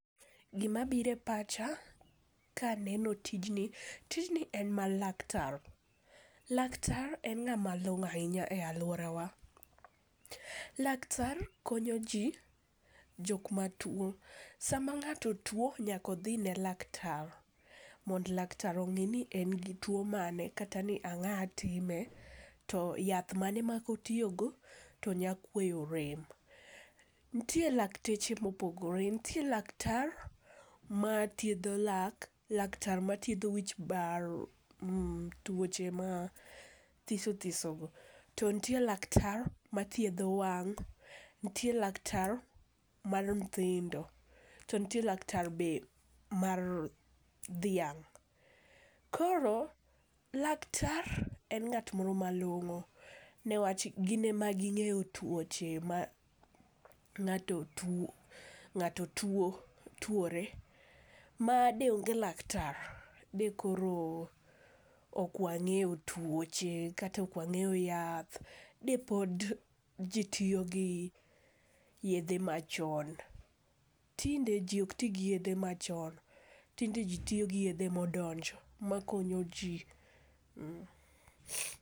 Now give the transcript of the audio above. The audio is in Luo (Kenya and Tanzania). Gimabiro e pacha kaneno tijni, tijni en mar laktar. Laktar en ng'ama long'o ahinya e alworawa. Laktar konyoji jok matuwo, sama nga'to tuwo nyaka odhine laktar mondo laktar ong'i ni en gi tuwo mane, kata ni ang'a time, to yath mane ma kotiyogo to nya kueyo rem. Nitie lakteche mopogore, nitie laktar mathiedho lak, laktar mathiedho wich bar, tuoche mathiso thisogo, to nitie laktar mathiedho wang' nitie laktar mar nyithindo, to nitie laktar be mar dhiang'. Koro laktar en ng'at moro malong'o niwach gin ema ging'eyo tuoche mang'ato tuwo, tuwore ma deonge laktar, dekoro ok wang'eyo tuoche kata ok wang'eyo yath. De pod ji tiyogi yedhe machon, tinde ji ok ti gi yedhe machon. Tinde ji tiyo gi yedhe modonjo makonyo ji.